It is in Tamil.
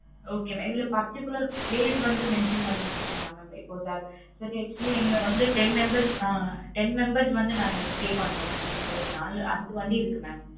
Okay mam இதுல particular place வந்து mention பண்ணி வச்சி இருக்கிங்களா mam இப்ப actually வந்து ten members வந்து ஆஹ் ten members வந்து நாங்க stay பண்றோம் எங்க கிட்ட நாலு அஞ்சு வண்டி இருக்கு mam